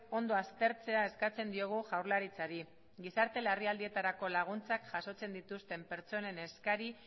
ondo aztertzea eskatzen diogu jaurlaritzari gizarte larrialdietarako laguntzak jasotzen dituzten pertsonen eskari